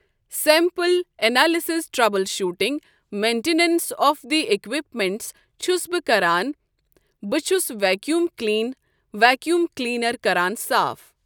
Sample analysis troubleshooting maintenance of the equipments چھُس بہٕ کران بہٕ چھُس ویکیوٗم کلین ویکیوٗم کٕلیٖنر کران صاف۔